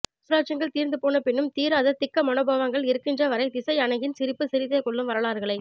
சாம்ராஜ்யங்கள் தீர்ந்து போன பின்னும் தீராத திக்க மனோபாவங்கள் இருக்கின்ற வரை திசை அணங்கின் சிரிப்பு சிரித்தே கொல்லும் வரலாறுகளை